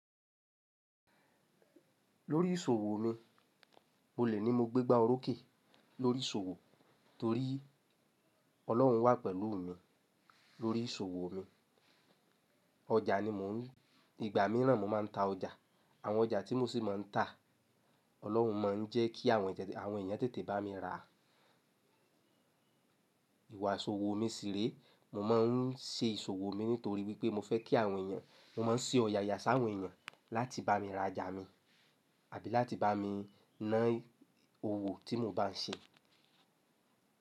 Lórí ìṣòwò mi, mo lè ni mo gbé gbá orókè lórí ìṣòwò torí Ọlọ́run wà pẹ̀lú mi lórí ìṣòwò mi. Ọjà ni mò ń, ìgbà míràn mo máa ń ta ọjà, àwọn ọjà tí mo sì máa ń tà, Ọlọ́run máa ń jẹ́ kí àwọn ènìyàn tètè bá mi ra. Ìwà ìṣòwò mi ṣìrẹ́, mo máa ń ṣe ìṣòwò mi nítorí wípé mo fẹ́ kí àwọn èèyàn, mo máa ń ṣe ọ̀yàyà sáwọn èèyàn láti bá mi ra jà mi àbí láti bá mi ná owó tí mo bá ń ṣe.